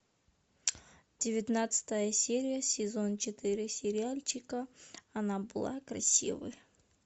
девятнадцатая серия сезон четыре сериальчика она была красивой